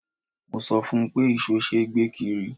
Mo sọ fún un pé ìṣó ṣe é gbé kiri.